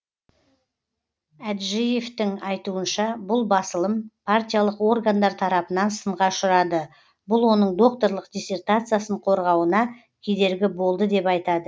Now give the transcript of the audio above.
әджіевтің айтуынша бұл басылым партиялық органдар тарапынан сынға ұшырады бұл оның докторлық диссертациясын қорғауына кедергі болды деп айтады